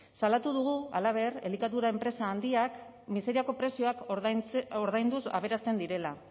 salatu dugu halaber elikadura enpresa handiak miseriazko prezioak ordainduz aberasten direla